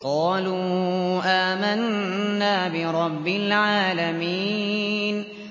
قَالُوا آمَنَّا بِرَبِّ الْعَالَمِينَ